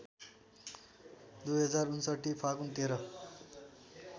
२०५९ फागुन १३